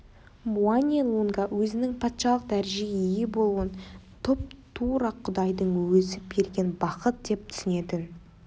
муани-лунга өзінің патшалық дәрежеге ие болуын тұп-тура құдайдың өзі берген бақыт деп түсінетін